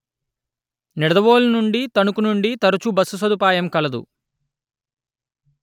నిడదవోలు నుండి తణుకు నుంది తరచు బస్సు సదుపాయం కలదు